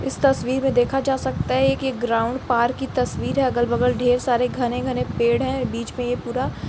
इस तस्वीर में देखा जा सकता है कि एक ग्राउंड पार्क की तस्वीर है अगल-बगल ढेर सारे घने-घने पेड़ हैं बीच में ये पूरा --